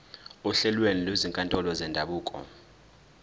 ohlelweni lwezinkantolo zendabuko